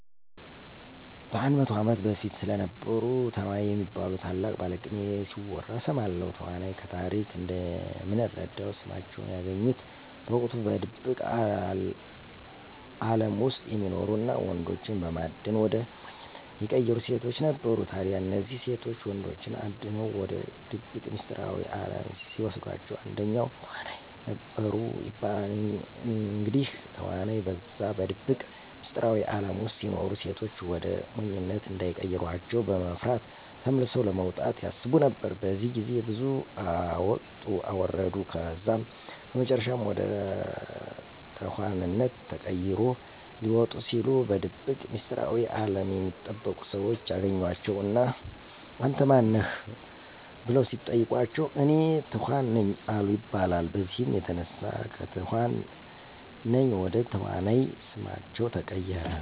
በ100 ዓመት በፊት ስለነበሩ ተዋናይ የሚባሉ ታላቅ ባለቅኔ ሲወራ እሰማለሁ። ተዋናይ ከታሪክ እንደምንረዳው ስማቸውን ያገኙት በወቅቱ በድብቅ አለም ውስጥ የሚኖሩ እና ወንዶችን በማደን ወደ ሞኝነት የሚቀይሩ ሴቶች ነበሩ። ታዲያ እነዚህ ሴቶች ወንዶችን አድነው ወደ ድብቅ ሚስጥራዊ አለም ሲወስዷቸዉ አንደኛው ተዋናይ ነበሩ ይባላል። እንግዲህ ተዋናይ በዛ በድብቅ ሚስጥራዊ አለም ውስጥ ሲኖሩ ሴቶች ወደ ሞኝነት እንዳይቀሯቸው በመፍራት ተመልሰው ለመውጣት ያስቡ ነበር። በዚህ ግዜ ብዙ አወጡ አወረዱ ከዛም በመጨረሻም ወደ ተኋንነት ተቀይሮ ሊወጡ ሲሉ በድብቅ ሚስጥራዊ አለም የሚጠበቁ ሰዎች ያገኟቸው እና አንተ ማን ነህ? በለው ሲጠይቋቸው፤ እኔ ተኋን ነኝ አሉ ይባላል። በዚህም የተነሳ ከትኋን ነኝ ወደ ተዋናይ ስማቸው ተቀየረ።